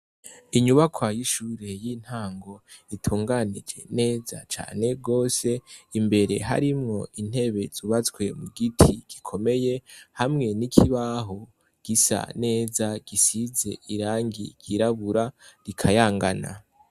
Inyubakwa y'ishure y'intango, itunganije neza cane gose. Imbere harimwo intebe zubatswe mu giti gikomeye hamwe n'ikibaho gisa neza gisize irangi ryirabura, rikayangana.